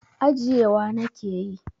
Ajiyewa nake yi.